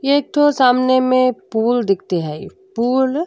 ये एक ठो सामने में पूल दिखते ही। पूल --